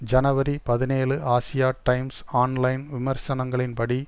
ஜனவரி பதினேழு Asia Times online விமர்சனங்களின் படி